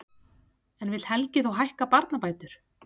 En vill Helgi þá hækka barnabætur?